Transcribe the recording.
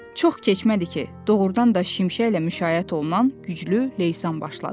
Çox keçmədi ki, doğrudan da şimşəklə müşayiət olunan güclü leysan başladı.